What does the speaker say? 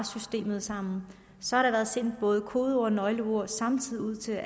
systemet sammen så har der været sendt både kodeord og nøglekort samtidig ud til